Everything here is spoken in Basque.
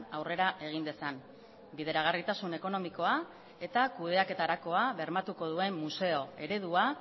aurrera egin dezan bideragarritasun ekonomikoa eta kudeaketarakoa bermatuko duen museo eredua